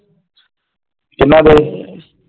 ਕਿੰਨਾ ਦੇ?